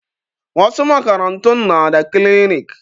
Wasu makarantun na da kilinik